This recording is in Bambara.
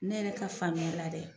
Ne yɛrɛ ka faamuya la dɛ